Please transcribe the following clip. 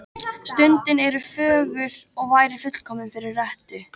Stundin er fögur og væri fullkomin fyrir rettu.